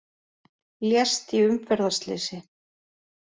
Lést í umferðarslysi